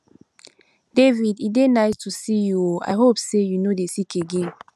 david e dey nice to see you oo i hope say you no dey sick again